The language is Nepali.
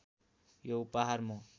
यो उपहार म